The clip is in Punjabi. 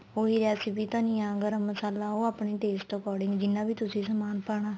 ਉਹੀ recipe ਧੰਨੀਆ ਗਰਮ ਮਸਾਲਾ ਉਹ ਆਪਣੇ taste according ਜਿੰਨਾ ਵੀ ਤੁਸੀਂ ਸਮਾਨ ਪਾਣਾ